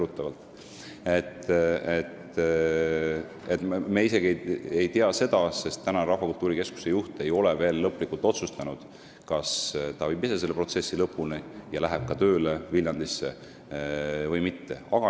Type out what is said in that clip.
Me ei tea isegi seda, sest Rahvakultuuri Keskuse juht ei ole veel lõplikult otsustanud, kas ta viib ise selle protsessi lõpuni ja läheb ka Viljandisse tööle või mitte.